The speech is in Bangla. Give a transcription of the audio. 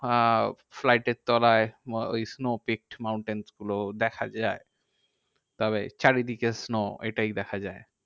আহ flight এর তলায় ওই snow peaked mountains গুলো দেখা যায়। তবে চারিদিকে snow এটাই দেখা যায়।